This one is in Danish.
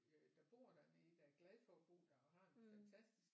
Der bor dernede der er glade for at bo der og har en fantastisk